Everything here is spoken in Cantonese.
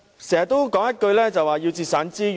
政府經常說要節省資源。